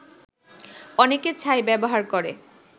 অনেকে ছাই ব্যবহার করে